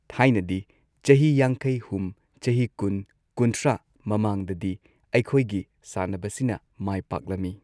ꯊꯥꯏꯅꯗꯤ ꯆꯍꯤ ꯌꯥꯡꯈꯩ ꯍꯨꯝ ꯆꯍꯤ ꯀꯨꯟ ꯀꯨꯟꯊ꯭ꯔꯥ ꯃꯃꯥꯡꯗꯗꯤ ꯑꯩꯈꯣꯏꯒꯤ ꯁꯥꯟꯅꯕꯁꯤꯅ ꯃꯥꯏ ꯄꯥꯛꯂꯝꯃꯤ꯫